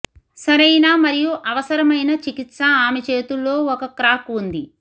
సరైన మరియు అవసరమైన చికిత్స ఆమె చేతుల్లో ఒక క్రాక్ ఉంది